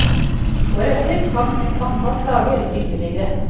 Året etter sank antall klager ytterligere.